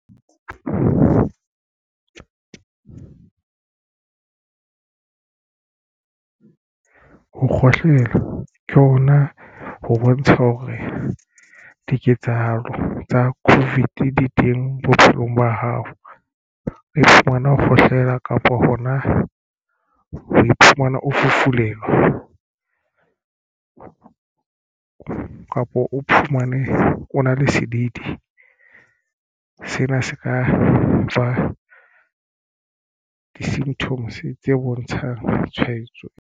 Ho kgohlela ke hona ho bontsha hore diketsahalo tsa Covid di teng bophelong ba hao. Iphumana ho kgohlela kapa hona o iphumana o fufulelwa kapa o iphumane o na le sedidi. Sena se ka nfa di-symptoms tse bontshang tshwaetso.